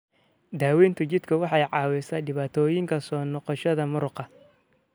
Daawaynta jidhku waxay caawisaa dhibaatooyinka soo noqoshada muruqa.